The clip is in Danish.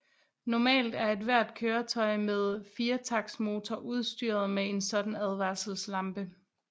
Normalt er ethvert køretøj med firetaktsmotor udstyret med en sådan advarselslampe